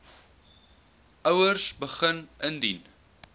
ouers begin indien